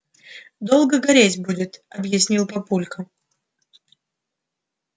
долго гореть будет объяснил папулька